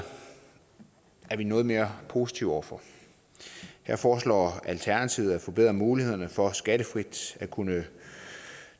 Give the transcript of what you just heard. er vi noget mere positive over for her foreslår alternativet at forbedre mulighederne for skattefrit at kunne